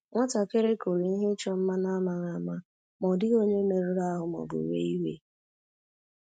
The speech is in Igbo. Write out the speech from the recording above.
Nwatakịrị kụrụ ihe ịchọ mma n'amaghị ama, ma ọ dịghị onye merụrụ ahụ ma ọ bụ wee iwe